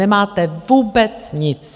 Nemáte vůbec nic.